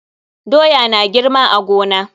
Doya na girma a gona.